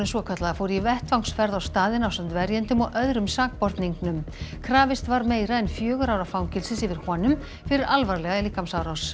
svokallaða fór í vettvangsferð á staðinn ásamt verjendum og öðrum sakborningnum krafist var meira en fjögurra ára fangelsis yfir honum fyrir alvarlega líkamsárás